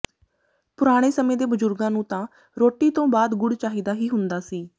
ਪੁਰਾਣੇ ਸਮੇਂ ਦੇ ਬਜੁਰਗਾਂ ਨੂੰ ਤਾਂ ਰੋਟੀ ਤੋਂ ਬਾਅਦ ਗੁੜ ਚਾਹੀਦਾ ਹੀ ਹੁੰਦਾ ਸੀ